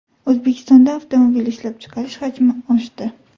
O‘zbekistonda avtomobil ishlab chiqarish hajmi oshdi.